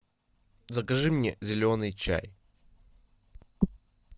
закажи мне зеленый чай